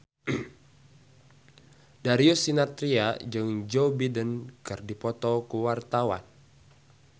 Darius Sinathrya jeung Joe Biden keur dipoto ku wartawan